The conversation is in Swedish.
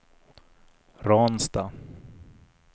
Ransta